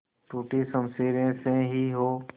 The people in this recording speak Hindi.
टूटी शमशीरें से ही हो